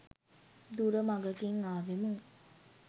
දුර මඟකින් ආවෙමු.